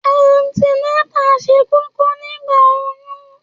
Àńti nátà sẹ kòkò nigba òyún